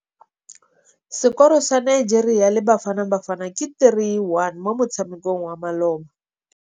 Sekôrô sa Nigeria le Bafanabafana ke 3-1 mo motshamekong wa malôba.